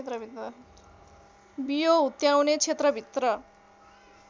बियो हुत्याउने क्षेत्रभित्र